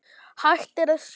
Hægt er að sjá